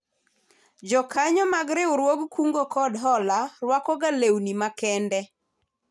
Jokanyo mag riwruog kuongo kod hola rwakoga lewni makende